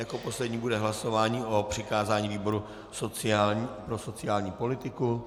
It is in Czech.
Jako poslední bude hlasování o přikázání výboru pro sociální politiku.